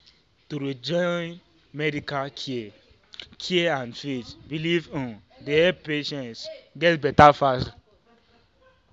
to dey join medical care care and faith belief um dey help patients get better faster.